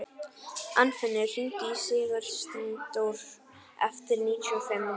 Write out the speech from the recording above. Arnfinnur, hringdu í Sigursteindór eftir níutíu og fimm mínútur.